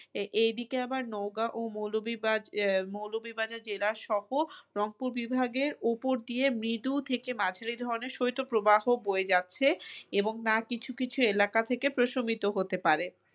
আহ এই দিকে আবার নওগাঁ ও মৌলভীবাজার জেলাসহ রংপুর বিভাগের ওপর দিয়ে মৃদু থেকে মাঝারি ধরনের শৈত্যপ্রবাহ বয়ে যাচ্ছে এবং তা কিছু কিছু এলাকা থেকে প্রশমিত হতে পারে।